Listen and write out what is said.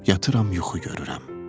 Yatıram yuxu görürəm.